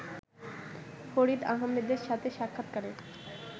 ফরিদ আহমেদের সাথে সাক্ষাৎকারে